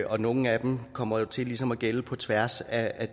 og nogle af dem kommer jo til ligesom at gælde på tværs af